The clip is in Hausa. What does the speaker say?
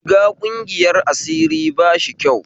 Shiga ƙungiyar asiri bashi kyau